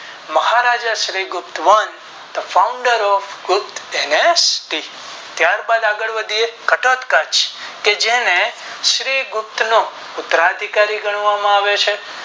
મહારાજા શ્રી ગુપ્ત વંશ The Founder of Gupta Anesti ત્યારબાદ આગળ વધીતે ઘટોતઘચ કે જેને શ્રી ગુપ્ત નો ઉપર અધિકારી ગણવામાં આવે છે.